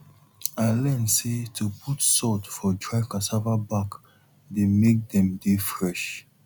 i learn say to put salt for dry cassava back dey make dem dey fresh